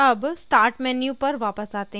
अब start menu पर वापस आते हैं